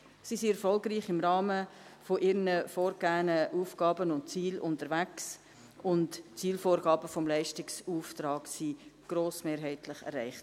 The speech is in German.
Sie sind im Rahmen ihrer vorgegebenen Aufgaben und Ziele erfolgreich unterwegs, und die Zielvorgaben des Leistungsauftrags wurden grossmehrheitlich erreicht.